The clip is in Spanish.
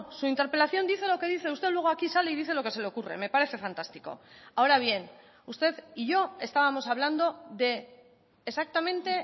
su interpelación dice lo que dice usted luego aquí sale y dice lo que se le ocurre me parece fantástico ahora bien usted y yo estábamos hablando de exactamente